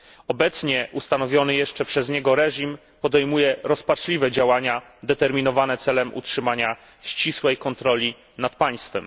Obecnie ustanowiony jeszcze przez niego reżim podejmuje rozpaczliwe działania determinowane celem utrzymania ścisłej kontroli nad państwem.